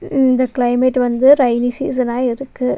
இந்த கிளைமேட் வந்து ரைனி சீசனா இருக்கு.